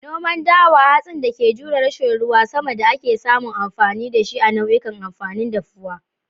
Noman dawa, hatsin da ke jure rashin ruwan sama da ake samun amfani da shi a nau'ikan amfanin dafuwa